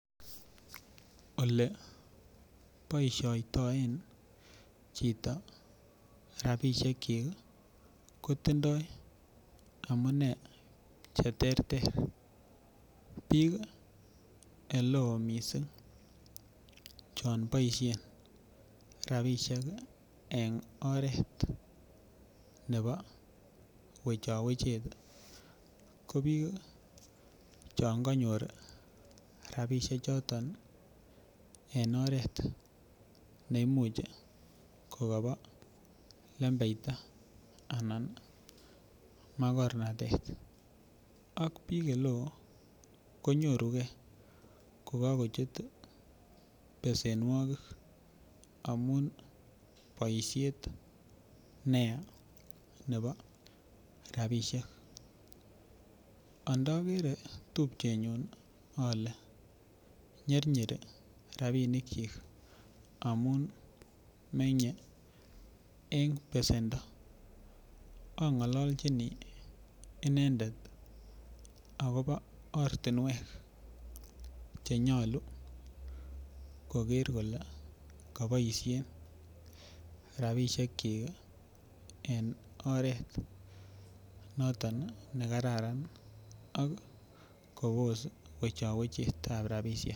Ole boishoitoen choto rabishek chik kotimdo amunee cheterter bik eleo missing chon boishet rabunik en oret nebo wechowechet ko bik chon konyor rabishek choto en oret neimuch kokobo lembeita anan makornatet ak bik ole konyorugee kokokochut besenuokik amun boishet neyaa nebo rabishek andokere tupchenyun ole nyirnyiri rabunik chik amun menye en besendo ongololchini inendet akobo ortinwek chenyolu kigeer kole kiboishen rabishek chik en oret niton nekarar ak kobos wechowechetab rabishek